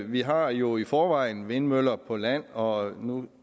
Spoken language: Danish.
vi har jo i forvejen vindmøller på land og nu